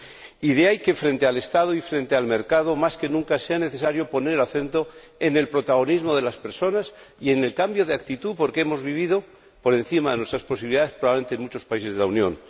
Y de ahí que, frente al Estado y frente al mercado, más que nunca, sea necesario poner el acento en el protagonismo de las personas y en el cambio de actitud, porque hemos vivido por encima de nuestras posibilidades probablemente en muchos países de la Unión.